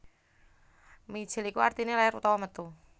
Mijil iku artine lair utawa metu